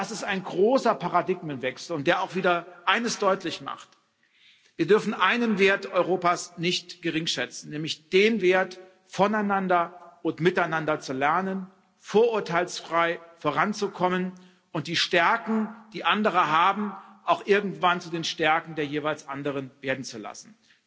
Das ist ein großer Paradigmenwechsel, der auch wieder eines deutlich macht Wir dürfen einen Wert Europas nicht geringschätzen, nämlich den Wert, voneinander und miteinander zu lernen, vorurteilsfrei voranzukommen und die Stärken, die andere haben, auch irgendwann zu den Stärken der jeweils anderen werden zu lassen.